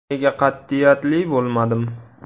Nega qat’iyatli bo‘lmadim.